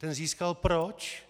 Ten získal proč?